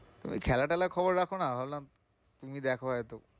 ওই খেলা টেলার খবর রাখো না? আমি ভাবলাম তুমি দেখো হয়তো।